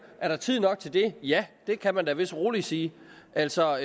er der tid nok til det ja det kan man vist roligt sige altså